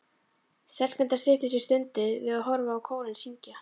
Stelpurnar styttu sér stundir við að horfa á kórinn syngja.